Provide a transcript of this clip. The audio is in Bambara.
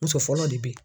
Muso fɔlɔ de be yen